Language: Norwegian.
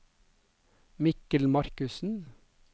Mikkel Markussen